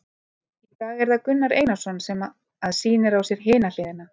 Í dag er það Gunnar Einarsson sem að sýnir á sér hina hliðina.